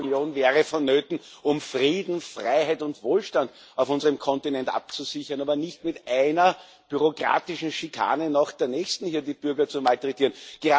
Die Europäische Union wäre vonnöten, um Frieden, Freiheit und Wohlstand auf unserem Kontinent abzusichern, aber nicht um mit einer bürokratischen Schikane nach der nächsten hier die Bürger zu malträtieren.